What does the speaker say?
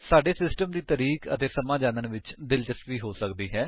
ਸਾਡੀ ਸਿਸਟਮ ਦੀ ਤਾਰੀਖ਼ ਅਤੇ ਸਮਾਂ ਜਾਣਨ ਵਿਚ ਦਿਲਚਸਪੀ ਹੋ ਸਕਦੀ ਹੈ